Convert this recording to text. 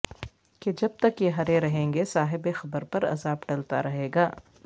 کہ جب تک یہ ہرے رہیں گے صاحب قبر پر عذاب ٹلتا رہیگا